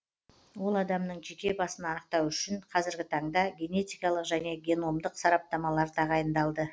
ол адамның жеке басын анықтау үшін қазіргі таңда генетикалық және геномдық сараптамалар тағайындалды